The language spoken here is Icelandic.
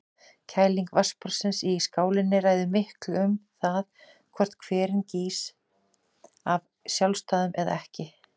Kæling vatnsborðsins í skálinni ræður miklu um það hvort hverinn gýs af sjálfsdáðum eða ekki.